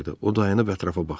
O dayanıb ətrafa baxdı.